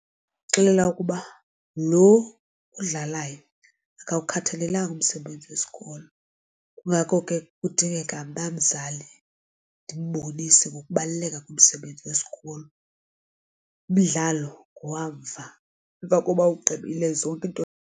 Ndingamxelela ukuba lo udlalayo akuwukhathalelanga umsebenzi wesikolo kungako ke kudingeka mna mzali ndimbonise ngokubaluleka komsebenzi wesikolo, umdlalo ngowamva emva koba ugqibile zonke iinto.